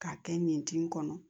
K'a kɛ ɲɛtin kɔnɔ